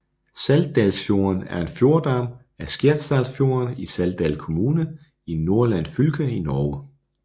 Saltdalsfjorden er en fjordarm af Skjerstadfjorden i Saltdal kommune i Nordland fylke i Norge